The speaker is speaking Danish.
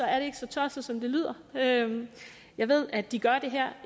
er det ikke så tosset som det lyder jeg ved at de gør det her